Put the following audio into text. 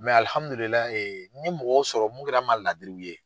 n ye mɔgɔw sɔrɔ mun kɛra n ma ladiriw ye.